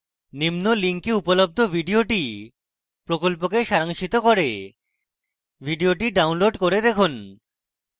নিম্ন link উপলব্ধ video প্রকল্পকে সারাংশিত করে video download করে দেখুন